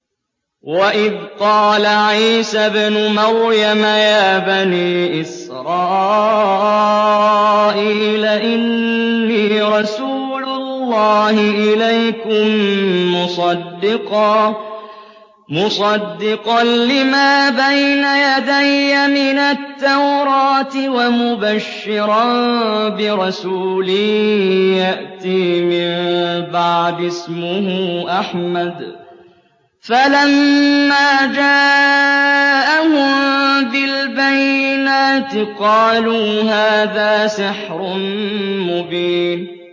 وَإِذْ قَالَ عِيسَى ابْنُ مَرْيَمَ يَا بَنِي إِسْرَائِيلَ إِنِّي رَسُولُ اللَّهِ إِلَيْكُم مُّصَدِّقًا لِّمَا بَيْنَ يَدَيَّ مِنَ التَّوْرَاةِ وَمُبَشِّرًا بِرَسُولٍ يَأْتِي مِن بَعْدِي اسْمُهُ أَحْمَدُ ۖ فَلَمَّا جَاءَهُم بِالْبَيِّنَاتِ قَالُوا هَٰذَا سِحْرٌ مُّبِينٌ